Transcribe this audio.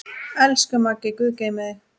Elsku Maggi, guð geymi þig.